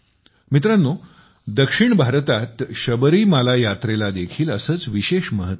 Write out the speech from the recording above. मित्रांनो दक्षिण भारतात शबरीमाला यात्रेला देखील असेच विशेष महत्त्व आहे